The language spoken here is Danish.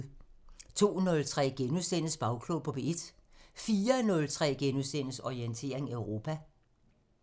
02:03: Bagklog på P1 * 04:03: Orientering Europa *